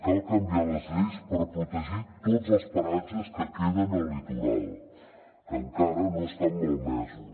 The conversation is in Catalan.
cal canviar les lleis per protegir tots els paratges que queden al litoral que encara no estan malmesos